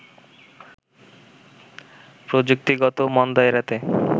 প্রযুক্তিগত মন্দা এড়াতে